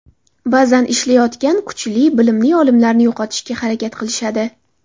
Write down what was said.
Ba’zan ishlayotgan, kuchli, bilimli olimlarni yo‘qotishga harakat qilishadi.